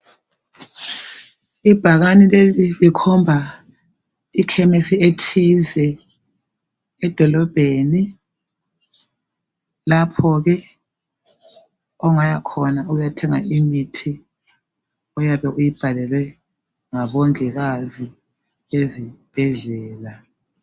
Ibhakane leli likhomba ikhemisi ethize edolobheni. Lapho ke ongayakhona uyethenga imithi oyabe uyibhalelwe ngabongikazi ezibhedlela.